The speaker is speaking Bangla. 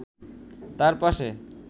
তার পাশে